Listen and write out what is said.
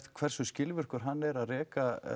hversu skilvirkur hann er að reka